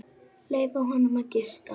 Leyfa honum að gista.